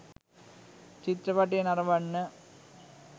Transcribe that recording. චිත්‍රපටය නරඹන්න